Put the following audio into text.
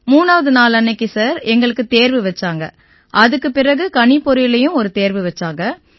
3ஆவது நாளன்னைக்கு சார் எங்களுக்கு தேர்வு வச்சாங்க அதுக்குப் பிறகு கணிப்பொறியிலயும் ஒரு தேர்வு வச்சாங்க